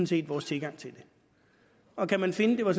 set vores tilgang til det og kan man finde det var